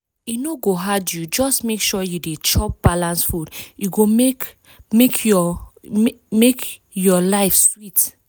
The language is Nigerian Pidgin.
e no go hard you just make sure you dey chop balanced food e go make make your make make your life sweet.